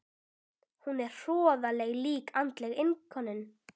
Hún er hroðaleg slík andleg innilokun.